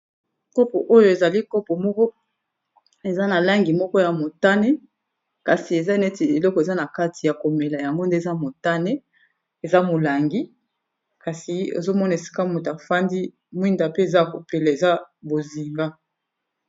Kopo oyo ezali kopo moko eza na langi moko ya motane kasi eza neti eloko eza na kati ya komela yango nde eza motane eza molangi kasi ozomona esika moto afandi mwinda pe eza kopela eza bozinga.